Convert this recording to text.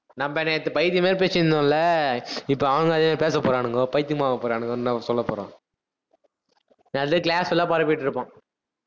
நம்ம நேத்து பைத்தியம் மாதிரி பேசிட்டு இருந்தோம்ல, இப்ப அவனும் அதே மாதிரி பேச போறானுங்கோ, பைத்தியம் ஆக போறானுங்கன்னுதான் அவன் சொல்லப் போறான். class ல பரப்பிட்டுருப்பான்.